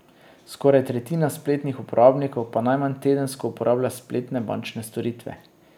Skoraj tretjina spletnih uporabnikov pa najmanj tedensko uporablja spletne bančne storitve.